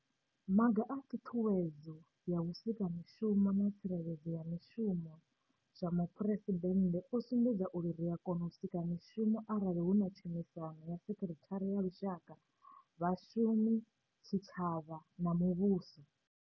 Maga a Ṱhuṱhuwedzo ya vhusika mishumo na tsireledzo ya mishumo zwa Muphuresidennde o sumbedza uri ri a kona u sika mishumo arali hu na tshumisano na sekithara ya lushaka, vha-shumi, tshitshavha na muvhuso.